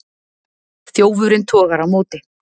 Þjófurinn togar á móti.